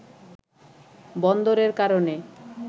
“বন্দরের কারণে